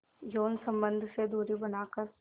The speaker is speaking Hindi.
यौन संबंध से दूरी बनाकर